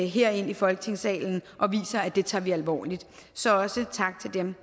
her ind i folketingssalen og viser at det tager vi alvorligt så også tak til dem